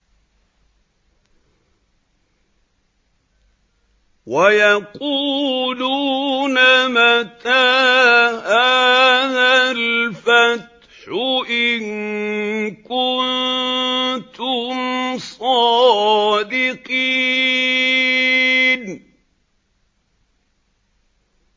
وَيَقُولُونَ مَتَىٰ هَٰذَا الْفَتْحُ إِن كُنتُمْ صَادِقِينَ